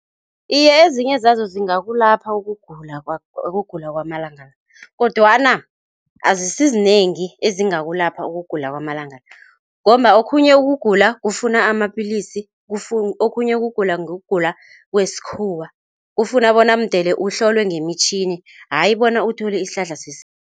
Iye, ezinye zazo zingakulapha ukugula ukugula kwamalanga la, kodwana azisizinengi ezingakulapha ukugula kwamalanga la ngomba okhunye ukugula kufuna amapillisi, okhunye ukugula ngokugula kwesikhuwa kufuna bona mdele uhlolwe ngeemtjhini ayi bona uthole isihlahla sesintu.